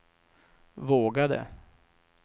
vågade